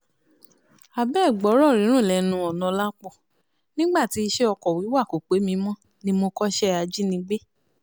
àbẹ́ẹ̀ gbọ́rọ̀ runrun lẹ́nu ọ̀nàọ́lápọ̀ nígbà tí iṣẹ́ ọkọ̀ wíwà kò pé mi mọ́ ni mo kọ́ṣẹ́ ajínigbé